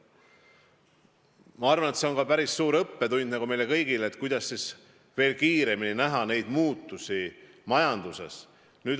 Ma arvan, et see on päris hea õppetund meile kõigile, kuidas veel paremini näha muutusi majanduses.